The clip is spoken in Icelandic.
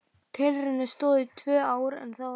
Tilraunin stóð í tvö ár en þá var henni hætt.